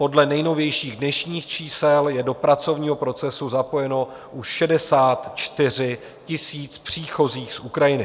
Podle nejnovějších dnešních čísel je do pracovního procesu zapojeno už 64 000 příchozích z Ukrajiny.